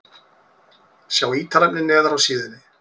Sjá ítarefni neðar á síðunni